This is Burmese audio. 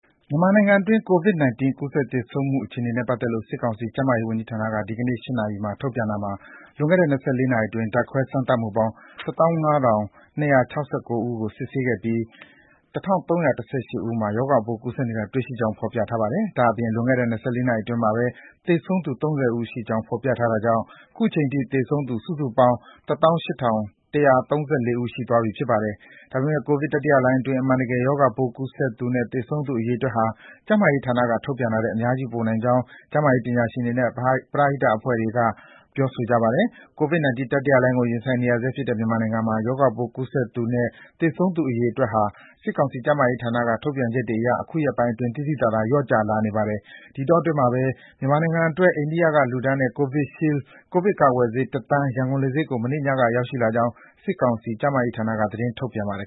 မြန်မာနိုင်ငံအတွင်း COVID-19 ကူးစက် သေဆုံးမှု အခြေအနေနဲ့ ပတ်သက်လို့ စစ်ကောင်စီ ကျန်းမာရေးဝန်ကြီးဌာနက ဒီကနေ့ည ၈ နာရီ ထုတ်ပြန်တာမှာ လွန်ခဲ့တဲ့ ၂၄ နာရီအတွင်း ဓာတ်ခွဲစမ်းသပ်မှုပေါင်း ၁၅,၂၆၉ ဦးကို စစ်ဆေးခဲ့ပြီး ၁,၃၁၈ ဦးမှာ ရောဂါပိုး ကူးစက်နေတာ တွေ့ရှိကြောင်း ဖော်ပြထားပါတယ်။ ဒါ့အပြင် လွန်ခဲ့တဲ့ ၂၄ နာရီအတွင်းမှာပဲ သေဆုံးသူ ၃၀ ဦးရှိကြောင်း ဖော်ပြထားတာကြောင့် အခုချိန်ထိ သေဆုံးသူ စုစုပေါင်း ၁၈,၁၃၄ ဦး ရှိသွားပြီ ဖြစ်ပါတယ်။ ဒါပေမယ့် ကိုဗစ်တတိယလှိုင်းအတွင်း အမှန်တကယ် ရောဂါပိုး ကူးစက်သူနဲ့ သေဆုံးသူ အရေအတွက်ဟာ ကျန်းမာရေးဌာနက ထုတ်ပြန်နေတာထက် အများကြီး ပိုများနိုင်ကြောင်း ကျန်းမာရေးပညာရှင်တွေနဲ့ ပရဟိတ အဖွဲ့အစည်းတွေက ပြောပါတယ်။ COVID-19 တတိယလှိုင်းဒဏ်ကို ရင်ဆိုင်နေရဆဲဖြစ်တဲ့ မြန်မာနိုင်ငံမှာ ရောဂါပိုး ကူးစက်သူနဲ့ သေဆုံးသူ အရေအတွက်ဟာ စစ်ကောင်စီ ကျန်းမာရေးဌာနက ထုတ်ပြန်ချက်တွေအရ အခုရက်ပိုင်းအတွင်း သိသိသာသာ လျော့ကျလာနေပါတယ်။ ဒီအတောအတွင်းမှာပဲ မြန်မာနိုင်ငံအတွက် အိန္ဒိယကလှူဒါန်းတဲ့ Covishield ကိုဗစ်ကာကွယ်ဆေး ၁ သန်း ရန်ကုန်လေဆိပ်ကို မနေ့ညက ရောက်လာကြောင်း စစ်ကောင်စီ ကျန်းမာရေးဌာနက သတင်းထုတ်ပြန်ပါတယ်